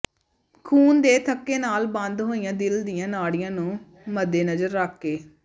ਖੂਨ ਦੇ ਥੱਕੇ ਨਾਲ ਬੰਦ ਹੋਈਆ ਦਿਲ ਦੀਆਂ ਨਾੜੀਆਂ ਨੂੰ ਮੱਦੇਨਜ਼ਰ ਰੱਖ ਕੇ ਡਾ